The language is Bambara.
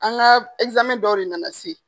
An ka dɔw de nana se.